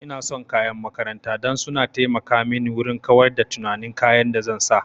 Ina son kayan makaranta dan su na taimaka mini wurin kawar da tunanin kayan da zan sa